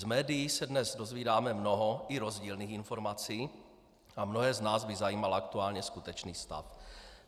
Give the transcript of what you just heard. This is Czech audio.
Z médií se dnes dovídáme mnoho i rozdílných informací a mnohé z nás by zajímal aktuální skutečný stav.